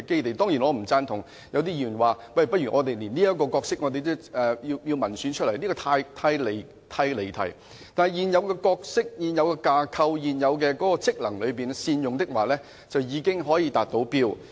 我當然不贊同一些議員說連這個角色也不如經民選選出，這意見十分離題，而且只要能夠善用現有的角色、架構和職能，便已經可以達到目的。